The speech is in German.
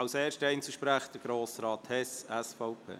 Als erster Einzelsprecher: Grossrat Hess, SVP.